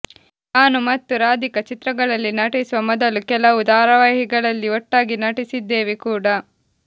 ನಾನು ಮತ್ತು ರಾಧಿಕಾ ಚಿತ್ರಗಳಲ್ಲಿ ನಟಿಸುವ ಮೊದಲು ಕೆಲವು ಧಾರಾವಾಹಿಗಳಲ್ಲಿ ಒಟ್ಟಾಗಿ ನಟಿಸಿದ್ದೇವೆ ಕೂಡ